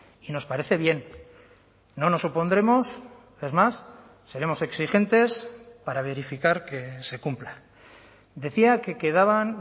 y nos parece bien no nos opondremos es más seremos exigentes para verificar que se cumpla decía que quedaban